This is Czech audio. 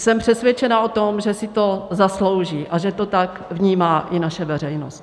Jsem přesvědčena o tom, že si to zaslouží a že to tak vnímá i naše veřejnost.